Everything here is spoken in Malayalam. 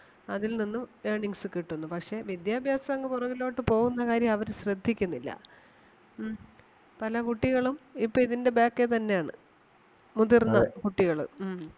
അതിൽ നിന്നും earnings കിട്ടുന്നു. പക്ഷെ വിദ്യാഭ്യാസം അങ്ങ് പൊറകിലോട്ട് പോകുന്ന കാര്യം അവര് ശ്രദ്ധിക്കുന്നില്ല. ഉം പല കുട്ടികളും ഇപ്പം ഇതിന്റെ back ഏ തന്നെ ആണ് മുതിർന്ന കുട്ടികള്. ഉം